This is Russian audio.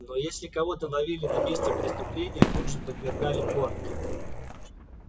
но если кого-то ловили на месте преступления тут же подвергали порке